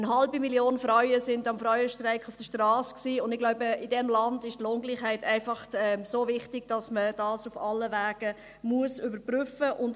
Eine halbe Million Frauen war am Frauenstreik auf der Strasse, und ich glaube, in diesem Land ist die Lohngleichheit einfach so wichtig, dass man dies auf allen Wegen überprüfen muss.